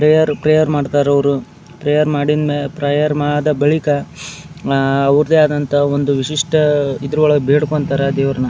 Prayer prayer ಮಾಡ್ತಾರೆ ಅವರು prayer ಮಾಡಿದ್ ಪ್ರೇಯರ್ ಆದ ಬಳಿಕ ಆ ಆ ಅವರದೇ ಆದಂತ ಒಂದು ವಿಶಿಷ್ಟ ರೀತಿಯಲ್ಲಿ ಬೇಡಿಕೊಳ್ತಾರೆ ದೇವರನ್ನ.